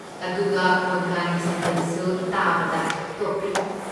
ꯑꯗꯨꯒ ꯀꯣꯟꯀꯅꯤ ꯁꯟꯗꯟꯁꯨ ꯇꯥꯕꯗ ꯇꯣꯞ ꯇꯣꯞꯄꯤ꯫